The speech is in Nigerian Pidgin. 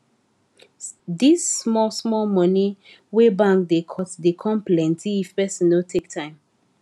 dis small small money wey bank da cut da come plenty if person no take time